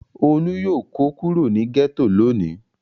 Olú yóò kó kúrò ní gẹ́tò lónìí.